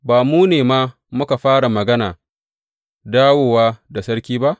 Ba mu ne ma muka fara magana dawowa da sarki ba?